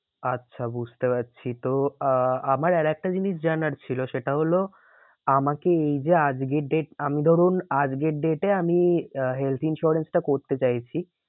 আচ্ছা বুঝতে পারছি। তো আহ আমার আর একটা জিনিস জানার ছিল সেটা হলো আমাকে এই যে আজকে date আমি ধরুন আজকের date এ আমি আহ health insurance টা করতে চাইছি